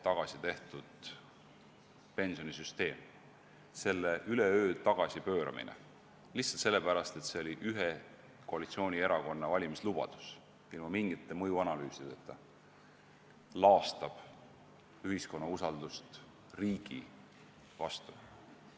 Selle üleöö tagasipööramine – lihtsalt sellepärast, et see oli ühe koalitsioonierakonna valimislubadus – ilma mingite mõjuanalüüsideta laastab ühiskonna usaldust riigi vastu.